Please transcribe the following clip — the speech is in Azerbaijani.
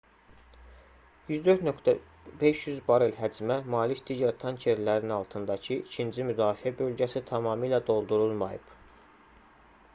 104,500 barel həcmə malik digər tankerlərin altındakı ikinci müdafiə bölgəsi tamamilə doldurulmayıb